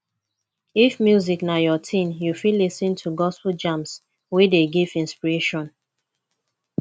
if music na your thing you fit lis ten to gospel jams wey dey give inspiration